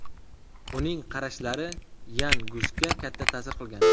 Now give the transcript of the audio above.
Uning qarashlari Yan Gusga katta ta’sir qilgan.